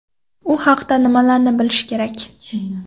U haqda nimalarni bilish kerak?.